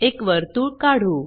एक वर्तुळ काढू